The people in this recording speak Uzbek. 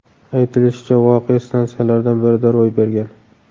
Aytilishicha, voqea stansiyalardan birida ro‘y bergan.